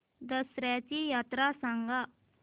दसर्याची यात्रा सांगा